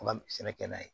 Ka sɛnɛ kɛ n'a ye